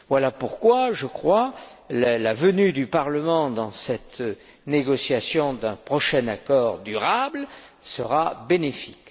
Voilà pourquoi, je crois, la venue du Parlement dans cette négociation d'un prochain accord durable sera bénéfique.